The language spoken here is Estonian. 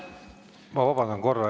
Ma vabandan korra.